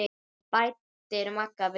bætir Magga við.